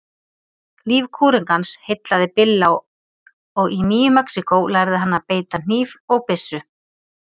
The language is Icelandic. Líf kúrekans heillaði Billa og í Nýju-Mexíkó lærði hann að beita hníf og byssu.